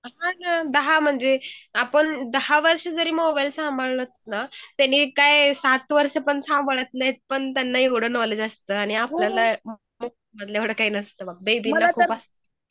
हा दहा म्हणजे आपण दहा वर्ष जरी मोबाईल सांभाळत ना तेनी काय सात वर्ष पण सांभाळत नाही पण त्यांना एवढं नॉलेज असत आणि आपल्याला एवढा काय नसतो बेबी ना खूप असत.